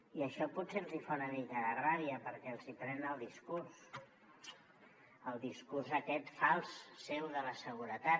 i això potser els hi fa una mica de ràbia perquè els hi pren el discurs el discurs aquest fals seu de la seguretat